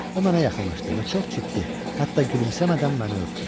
O mənə yaxınlaşdı və çox ciddi, hətta gülümsəmədən məni öpdü.